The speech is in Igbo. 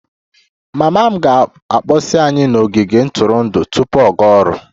Mama m ga-akpọsi anyị n'ogige ntụrụndụ tupu ọ gaa ọrụ